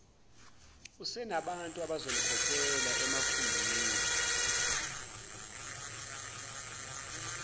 usenabantu abazomkhokhela emakhumbini